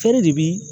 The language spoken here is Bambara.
Feere de bi